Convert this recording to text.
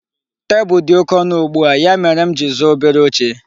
Tebụl dị oke ọnụ ugbua, ya mere m ji zụọ obere oche.